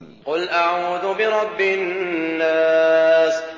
قُلْ أَعُوذُ بِرَبِّ النَّاسِ